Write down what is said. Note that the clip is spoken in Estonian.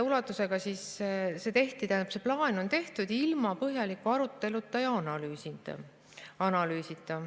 Ja see plaan on tehtud ilma põhjaliku arutelu ja analüüsita.